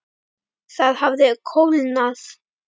Það hafði kólnað.